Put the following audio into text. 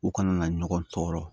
U kana na ɲɔgɔn tɔɔrɔ